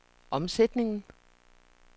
omsætningen